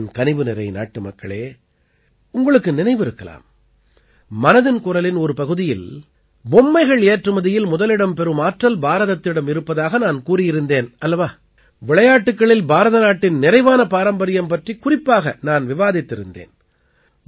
என் கனிவுநிறை நாட்டுமக்களே உங்களுக்கு நினைவிருக்கலாம் மனதின் குரலின் ஒரு பகுதியில் பொம்மைகள் ஏற்றுமதியில் முதலிடம் பெறும் ஆற்றல் பாரதத்திடம் இருப்பதாக நான் கூறியிருந்தேன் அல்லவா விளையாட்டுக்களில் பாரத நாட்டின் நிறைவான பாரம்பரியம் பற்றிக் குறிப்பாக நான் விவாதித்திருந்தேன்